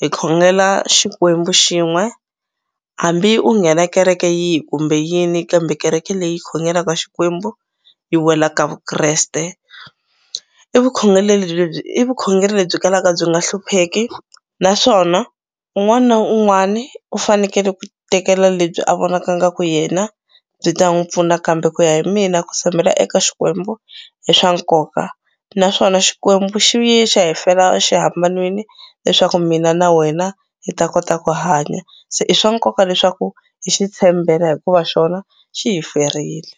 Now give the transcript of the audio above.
hi khongela Xikwembu xin'we hambi u nghena kereke yihi kumbe yini kambe kereke leyi khongelaka Xikwembu yi wela ka Vukreste i vukhongeleli i vukhongeri lebyi kalaka byi nga hlupheki naswona un'wani na un'wani u fanekele ku tekela lebyi a vonaka ingaku yena byi ta n'wu pfuna kambe ku ya hi mina ku tshembela eka Xikwembu i swa nkoka naswona Xikwembu xi yi xi ya hi fela xihambanweni leswaku mina na wena hi ta kota ku hanya se i swa nkoka leswaku hi xi tshembela hikuva xona xi hi ferile.